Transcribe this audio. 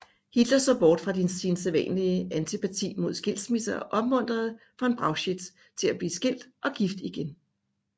Hitler så bort fra sin sædvanlige antipati mod skilsmisser og opmuntrede von Brauchitsch til at blive skilt og gift igen